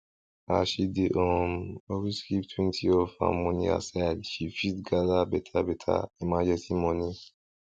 as she dey um always keep twenty of her money aside she fit gather better better emergency money